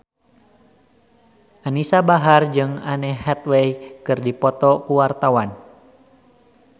Anisa Bahar jeung Anne Hathaway keur dipoto ku wartawan